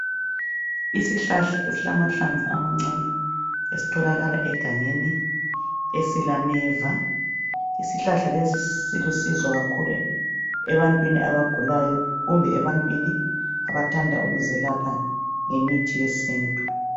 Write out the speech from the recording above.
Isihlahla esilamahlamvu amancane esitholakala egangeni esilameva, isihlahla lesi silusizo kakhulu ebantwini abagulayo kumbe ebantwini abathanda ukuzelapha ngemithi yesintu.